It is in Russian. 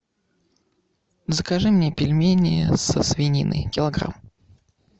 закажи мне пельмени со свининой килограмм